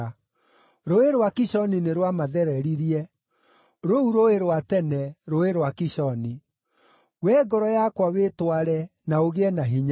Rũũĩ rwa Kishoni nĩ rwamathereririe, rũu rũũĩ rwa tene, Rũũĩ rwa Kishoni. Wee ngoro yakwa wĩtware, na ũgĩe na hinya!